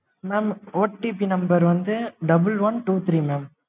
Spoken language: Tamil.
mam OTP number வந்து double one two three mam